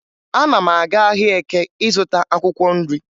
Ana m aga ahịa Eke ịzụta akwụkwọ nri